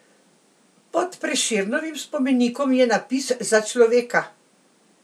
Pod Prešernovim spomenikom je napis Za človeka!